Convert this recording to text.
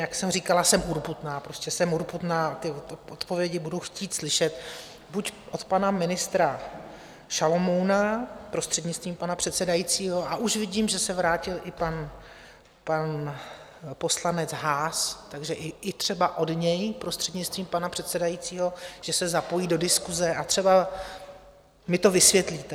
Jak jsem říkala, jsem urputná, prostě jsem urputná a ty odpovědi budu chtít slyšet buď od pana ministra Šalomouna, prostřednictvím pana předsedajícího, a už vidím, že se vrátil i pan poslanec Haas, takže i třeba od něj prostřednictvím pana předsedajícího, že se zapojí do diskuse, a třeba mi to vysvětlíte.